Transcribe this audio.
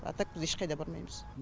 а так біз ешқайда бармаймыз